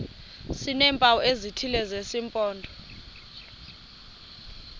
sineempawu ezithile zesimpondo